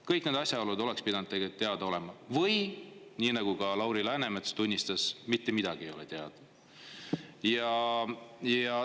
Kõik need asjaolud oleks pidanud tegelikult teada olema, või nii nagu ka Lauri Läänemets tunnistas, mitte midagi ei ole teada.